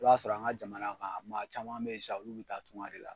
I b'a sɔrɔ an ka jamana kan maa caman be ye sisan olu be taa tunga de la